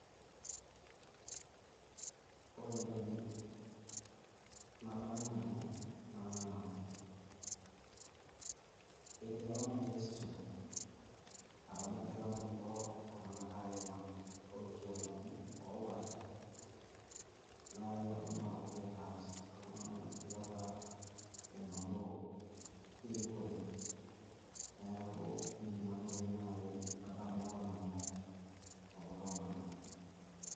Ore entoki nadamu Nanu naa etii apa manifesto apa nagira kulo Tung'anak lolkiamani opaasha naii naponu aitaas iltung'anak enoshi Kata enotito erikore. Neeku Ina toki naji adamu apa Nanu tekulo Tung'anak.